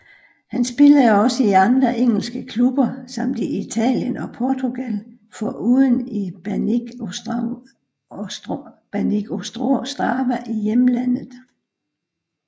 Han spillede også i andre engelske klubber samt i Italien og Portugal foruden i Banik Ostrava i hjemlandet